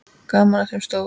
Gaman að þeim stóru.